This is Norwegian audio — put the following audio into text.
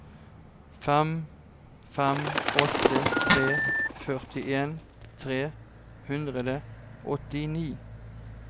fem fem åtte tre førtien tre hundre og åttini